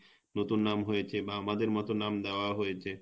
নতুন নাম হয়েছে বা আমাদের মত নাম দেয়া হয়েছে